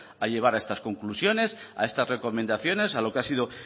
a llegar a estas conclusiones a estas recomendaciones a lo que ha sido